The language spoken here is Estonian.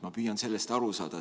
Ma püüan sellest aru saada.